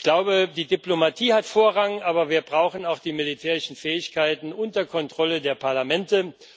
Ich glaube, die Diplomatie hat Vorrang, aber wir brauchen auch die militärischen Fähigkeiten unter Kontrolle der Parlamente.